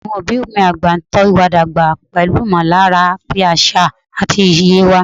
Àwọn òbí mi àgbà ń tọ́ wa dàgbà pẹ̀lú ìmọ̀lára ti àṣà àti iye wa.